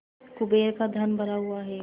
कुबेर का धन भरा हुआ है